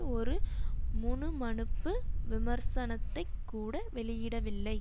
ஒரு முணுமணுப்பு விமர்சனத்தைக் கூட வெளியிடவில்லை